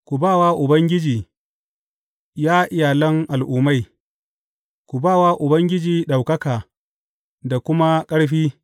Ku ba wa Ubangiji, ya iyalan al’ummai ku ba wa Ubangiji ɗaukaka da kuma ƙarfi.